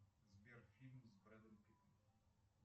сбер фильм с брэдом питтом